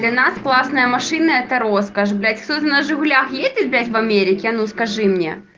для классная машина это роскошь блять кто на жигулях ездит блять в америке а ну скажи мне